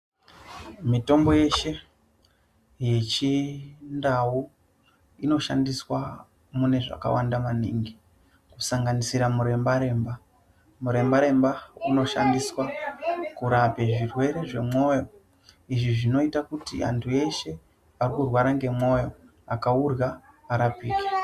Mitombo yeshe, yechindau inoshandiswa mune zvakawanda maningi, kusanganisira muremba-remba. Muremba-remba unoshandiswa kurape zvirwere zvemwoyo. Izvi zvinoita kuti antu eshe arikurwara ngemwoyo akaurya arapike.